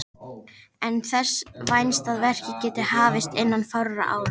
Er þess vænst að verkið geti hafist innan fárra ára.